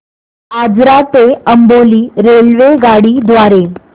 आजरा ते अंबोली रेल्वेगाडी द्वारे